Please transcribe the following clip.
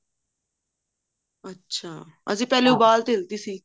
ਅੱਛਾ ਅਸੀਂ ਫੁਲੇ ਉਬਾਲ ਤਾਂ ਦਿੱਤੀ ਸੀ